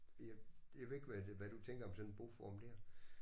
Jeg jeg ved ikke hvad det hvad du tænker om sådan en boform der